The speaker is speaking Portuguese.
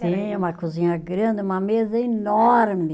Tinha uma cozinha grande, uma mesa enorme.